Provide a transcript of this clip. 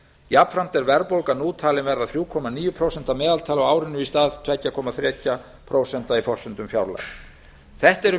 jafnframt er verðbólga nú talin verða þrjú komma níu prósent að meðaltali á árinu í stað tvö komma þrjú prósent í forsendum fjárlaga þetta eru